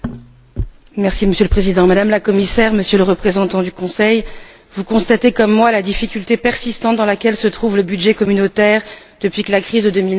Monsieur le Président, Madame la Commissaire, Monsieur le Représentant du Conseil, vous constatez comme moi la difficulté persistante dans laquelle se trouve le budget communautaire depuis que la crise de 2009 a éclaté.